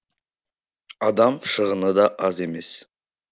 адам шығыны да аз емес